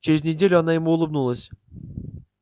через неделю она ему улыбнулась